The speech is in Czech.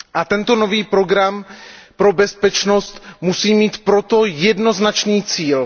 Tento nový program pro bezpečnost musí mít proto jednoznačný cíl.